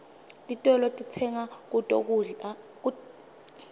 titolo sitsenga kuto kudla